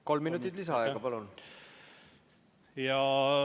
Kolm minutit lisaaega, palun!